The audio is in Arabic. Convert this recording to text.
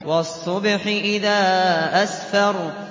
وَالصُّبْحِ إِذَا أَسْفَرَ